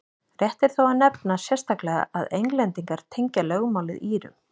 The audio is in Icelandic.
rétt er þó að nefna sérstaklega að englendingar tengja lögmálið írum